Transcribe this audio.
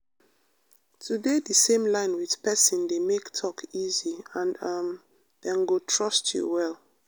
to dey the same line with person dey make talk easy and um dem go trust you well.